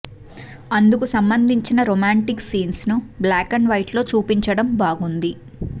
అందుకు సంబంధించిన romantic scenes ను బ్లాక్ అండ్ వైట్ లో చూపించడం బాగుంది